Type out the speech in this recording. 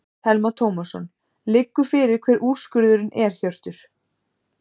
Telma Tómasson: Liggur fyrir hver úrskurðurinn er Hjörtur?